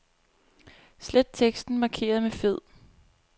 Slet teksten markeret med fed.